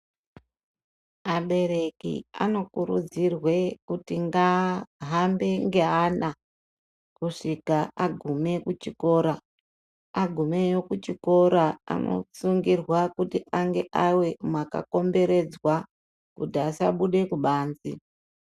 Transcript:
Vabereki vanokurudzirwa kuti ngahambe neana kusvika aguma kuchikora agumeyo kuchikora vanotsungirwa kuti ave makakomberedzwa kuti vasabuda kubanze.